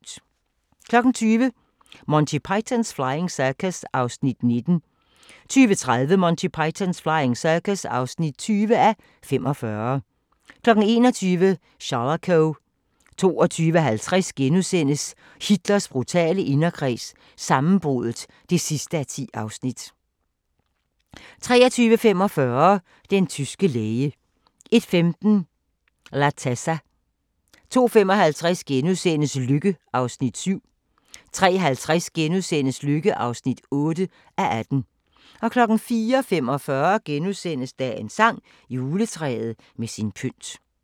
20:00: Monty Python's Flying Circus (19:45) 20:30: Monty Python's Flying Circus (20:45) 21:00: Shalako 22:50: Hitler brutale inderkreds – sammenbruddet (10:10)* 23:45: Den tyske læge 01:15: L'attesa 02:55: Lykke (7:18)* 03:50: Lykke (8:18)* 04:45: Dagens sang: Juletræet med sin pynt *